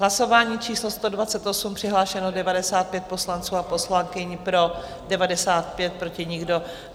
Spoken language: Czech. Hlasování číslo 128, přihlášeno 95 poslanců a poslankyň, pro 95, proti nikdo.